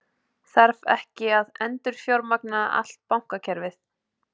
Þarf ekki að endurfjármagna allt bankakerfið?